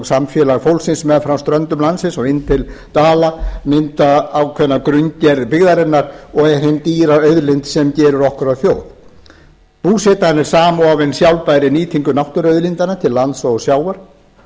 samfélag fólksins meðfram ströndum landsins og inn til dala myndar ákveðna grunngerð byggðarinnar og er hin dýra auðlind sem gerir okkur að þjóð búsetan er samofin sjálfbærri nýtingu náttúruauðlindanna til lands og sjávar